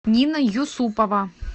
нина юсупова